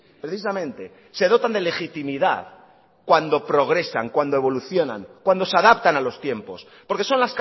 precisamente se dotan de legitimidad cuando progresan cuando evolucionan cuando se adaptan a los tiempos porque son